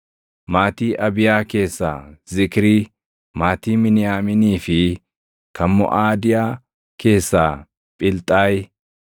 maatii Abiyaa keessaa Zikrii; maatii Miniyaamiinii fi kan Moʼaadiyaa keessaa Philxaayi;